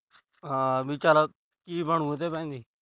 ਹਾਂ ਚਲ ਕੀ ਬਣੂ ਇਹਦੇ ਭਾਈ ਦੀ।